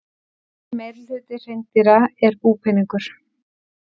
Mikill meirihluti hreindýra er búpeningur.